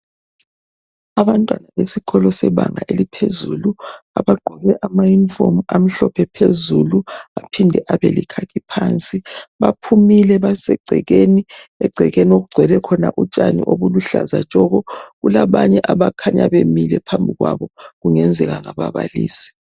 Abantwana besikolo sebanga eliphezulu abagqoke amayunifomu amhlophe phezulu aphinde abelekhakhi phansi, baphumile basegcekeni, egcekeni okugcwele khona utshani obuluhlaza tshoko, kulabanye abakhanya bemile phambi kwabo kungenzeka ngababalisi.